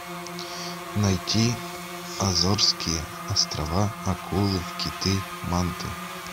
найти азорские острова акулы киты манты